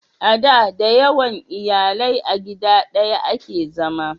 a da da yawan iyalai a gida daya a ke zama